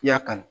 I y'a kanu